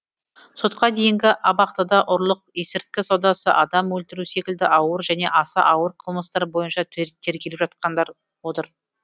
сотқа дейінгі абақтыда ұрлық есірткі саудасы адам өлтіру секілді ауыр және аса ауыр қылмыстар бойынша тергеліп жатқандар отыр